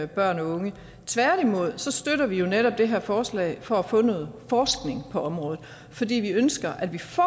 børn og unge tværtimod støtter vi jo netop det her forslag for at få noget forskning på området fordi vi ønsker at vi får